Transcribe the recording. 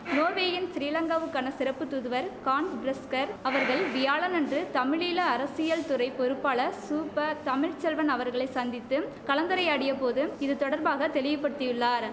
நோர்வேயின் சிறிலங்காவுக்கான சிறப்பு தூதுவர் கான்ஸ் பிரிஸ்கர் அவர்கள் வியாழனன்று தமிழீழ அரசியல் துறை பொறுப்பாளர் சு ப தமிழ் செல்வன் அவர்களை சந்தித்தும் கலந்துரையாடிய போது இது தொடர்பாக தெளிவுபடுத்தியுள்ளார்